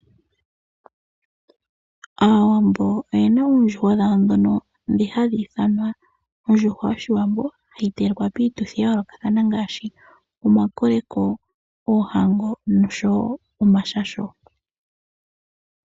Aawambo oyena oondjuhwa dhawo dhono dhi hadhi ithanwa ondjuhwa yoshiwambo hayi telekwa piituthi ya yoolokathana ngaashi omakoleko, oohango noshowo omashasho.